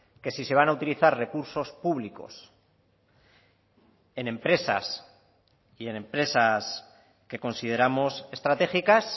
que si se van a utilizar recursos públicos en empresas y en empresas que consideramos estratégicas